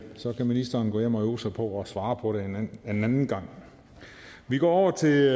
så kan ministeren gå hjem og øve sig på at svare på det en anden gang vi går over til